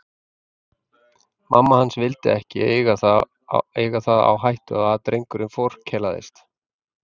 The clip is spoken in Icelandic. Mamma hans vildi ekki eiga það á hættu að drengurinn forkelaðist.